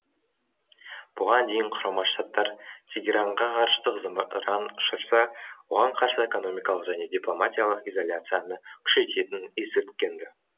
бұған дейін құрама штаттар тегеранға ғарыштық зымыран ұшырса оған қарсы экономикалық және дипломатиялық изоляцияны күшейтетінін ескерткен ді